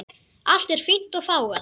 Allt er fínt og fágað.